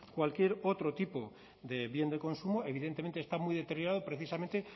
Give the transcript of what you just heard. cualquier otro tipo de bien de consumo evidentemente está muy deteriorado precisamente